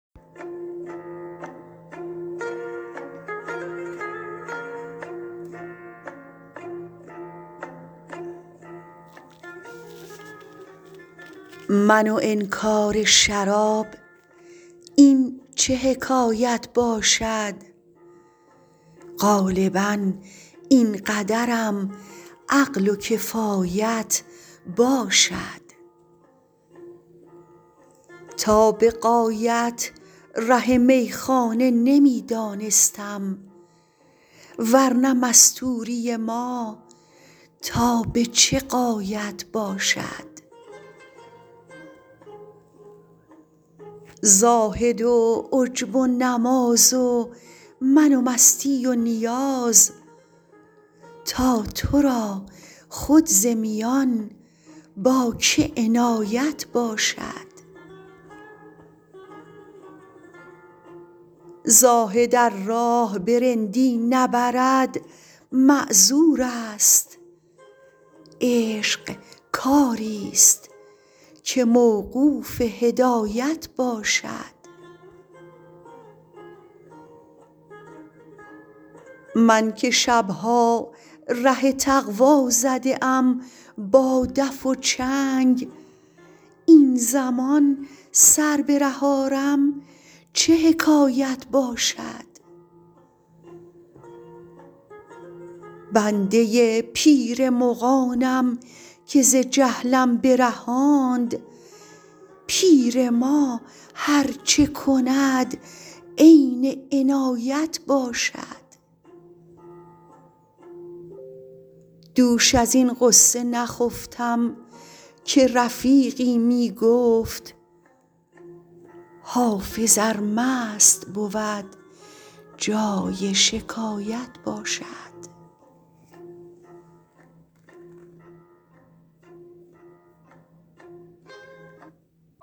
من و انکار شراب این چه حکایت باشد غالبا این قدرم عقل و کفایت باشد تا به غایت ره میخانه نمی دانستم ور نه مستوری ما تا به چه غایت باشد زاهد و عجب و نماز و من و مستی و نیاز تا تو را خود ز میان با که عنایت باشد زاهد ار راه به رندی نبرد معذور است عشق کاری ست که موقوف هدایت باشد من که شب ها ره تقوا زده ام با دف و چنگ این زمان سر به ره آرم چه حکایت باشد بنده پیر مغانم که ز جهلم برهاند پیر ما هر چه کند عین عنایت باشد دوش از این غصه نخفتم که رفیقی می گفت حافظ ار مست بود جای شکایت باشد